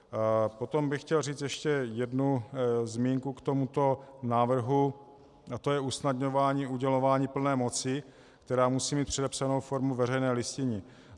Potom bych chtěl říct ještě jednu zmínku k tomuto návrhu, a to je usnadňování udělování plné moci, která musí mít předepsanou formu veřejné listiny.